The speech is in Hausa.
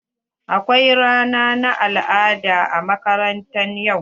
Akwai rana na al'ada a makaranta yau.